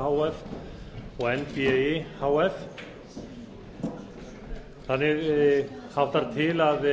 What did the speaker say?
h f og nbi h f þannig háttar til að